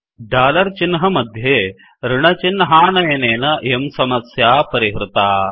dollar चिह्नमध्ये ऋणचिह्नानयनेन इयं समस्या परिहृता